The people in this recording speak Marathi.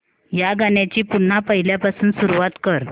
या गाण्या ची पुन्हा पहिल्यापासून सुरुवात कर